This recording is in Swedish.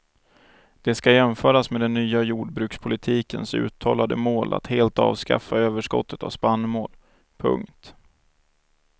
Det ska jämföras med den nya jordbrukspolitikens uttalade mål att helt avskaffa överskottet av spannmål. punkt